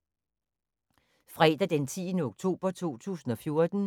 Fredag d. 10. oktober 2014